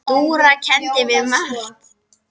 Dúra kenndi mér margt.